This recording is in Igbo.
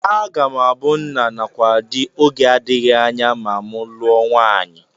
Aga m abụ nna nakwa di oge adịghị anya ma m lụọ nwaanyị